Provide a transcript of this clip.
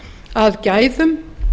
að gæðum